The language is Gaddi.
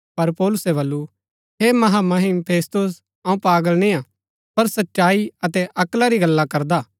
पर पौलुसै बल्लू हे महामहिम फेस्तुस अऊँ पागल निय्आ पर सच्चाई अतै अक्ला री गल्ला करदा